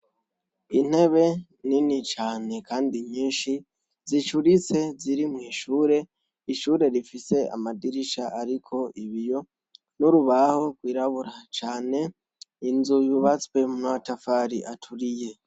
intebe nini cyane kandi nyinshi zicuritse ziri mwishure ishure rifise amadirisha ariko ibiyo n'urubaho rwirabura cyane inzu yubatswe n'amatafari aturiye